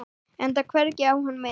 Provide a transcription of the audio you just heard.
Enda hvergi á hann minnst.